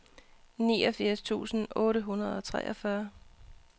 niogfirs tusind otte hundrede og treogfyrre